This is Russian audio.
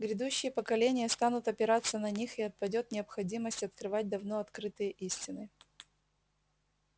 грядущие поколения станут опираться на них и отпадёт необходимость открывать давно открытые истины